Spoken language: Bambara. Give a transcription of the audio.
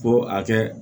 Ko a kɛ